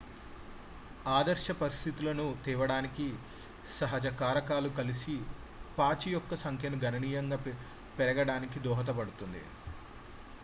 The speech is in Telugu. ఆదర్శ పరిస్థితులను తేవడానికి సహజ కారకాలు కలిసి పాచి యొక్క సంఖ్యను గణనీయంగా పెరగడానికి దోహదపడుతుంది